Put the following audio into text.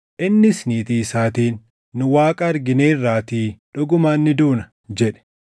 Innis niitii isaatiin, “Nu Waaqa argineerraatii dhugumaan ni duuna!” jedhe.